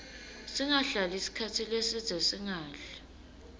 singahlali sikhatsi lesidze singadli